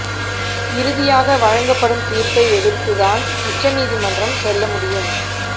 இறுதியாக வழங்கப்படும் தீர்ப்பை எதிர்த்து தான் உச்ச நீதிமன்றம் செல்ல முடியும்